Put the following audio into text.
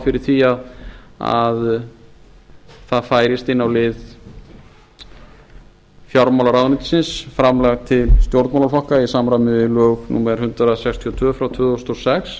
fyrir því að það færist inn á lið fjármálaráðuneytisins framlag til stjórnmálaflokka í samræmi við lög númer hundrað sextíu og tvö tvö þúsund og sex